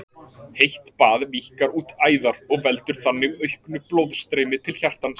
Heitt bað víkkar út æðar og veldur þannig auknu blóðstreymi til hjartans.